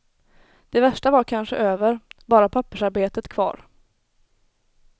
Det värsta var kanske över, bara pappersarbetet kvar.